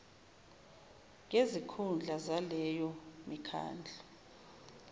ngezikhundla zaleyo mikhandlu